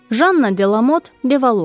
Janna Delamot Devalua.